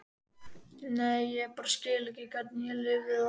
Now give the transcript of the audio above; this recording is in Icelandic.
Nei, ég bara skil ekki hvernig ég lifði það af.